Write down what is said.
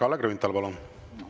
Kalle Grünthal, palun!